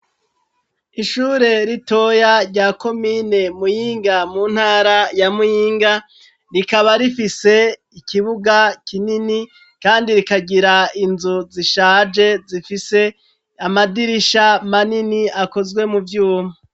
Ishure ritoya rya komine muyinga, mu ntara ya muyinga, rikaba rifise ikibuga kinini kandi rikagira inzu zishaje, zifise amadirisha manini akozwe, mu vyuma.